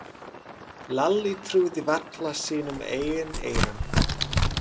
Lalli trúði varla sínum eigin eyrum.